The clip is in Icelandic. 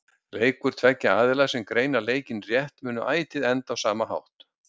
Leikur tveggja aðila sem greina leikinn rétt mun ætíð enda á sama hátt.